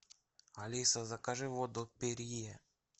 алиса закажи воду перье